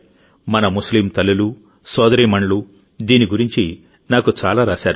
మన ముస్లిం తల్లులు సోదరీమణులు దీని గురించి నాకు చాలా రాశారు